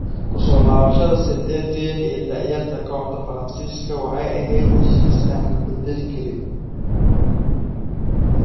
Ku soo laabashada Saint Etienne ee da'yarta kooxda Faransiiska waxay ahayd heshiis aan la bedeli karin.